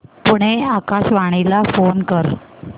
पुणे आकाशवाणीला फोन कर